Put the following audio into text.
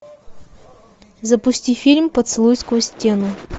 запусти фильм поцелуй сквозь стену